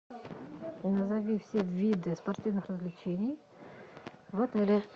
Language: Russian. назови все виды спортивных развлечений в отеле